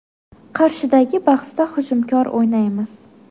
Qarshidagi bahsda hujumkor o‘ynaymiz.